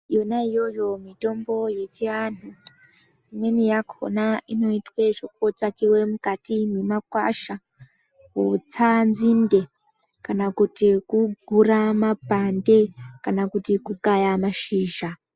Yona iyoyo mitombo yechiandu imweni yakona inoitwa zvekutsvakiwa mukati memakwasha kutsa nzinde kana kuti kugura mapande kana kuti kukaya mashizha.